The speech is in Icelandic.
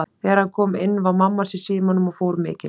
Þegar hann kom inn var mamma hans í símanum og fór mikinn.